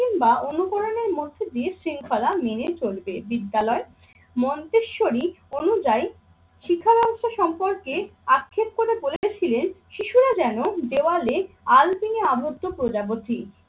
কিংবা অনুকরণের মধ্য দিয়ে শৃঙ্খলা মেনে চলবে। বিদ্যালয় মন্তেশ্বরী অনুযায়ী শিক্ষা ব্যবস্থা সম্পর্কে আক্ষেপ করে বলেছিলেন শিশুরা যেন দেওয়ালে আল্পিনে আবদ্ধ প্রজাপতি।